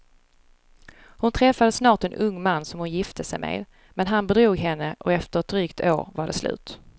Hon träffade snart en ung man som hon gifte sig med, men han bedrog henne och efter ett drygt år var det slut.